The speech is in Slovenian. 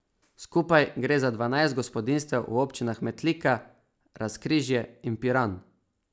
Skupaj gre za dvanajst gospodinjstev v občinah Metlika, Razkrižje in Piran.